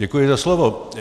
Děkuji za slovo.